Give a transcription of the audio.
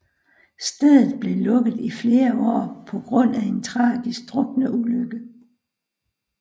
Stedet blev lukket i flere år på grund af en tragisk drukneulykke